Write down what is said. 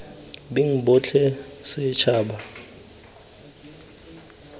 beng botlhe setšhaba kgotsa ditlhopha